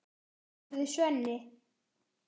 spurði Svenni.